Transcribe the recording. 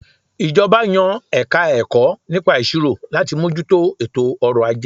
Ìjọba yan Ẹ̀ka-ẹ̀kọ́ nípa Ìṣirò láti mójú tó ètò ọrọ̀ - ajé